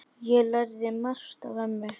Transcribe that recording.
Ég lærði margt af ömmu.